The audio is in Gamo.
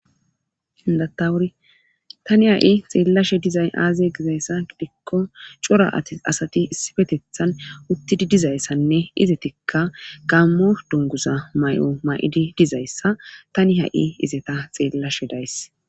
Indatawuri tani ha'i xeellashe dizay aazaye gizayssa gidikko cora ati asati issi fetethan uttidi dizayssanne izetikka gaammo dongusa may'o ma7idi dizayssa tani ha'i izeta xeellashe days.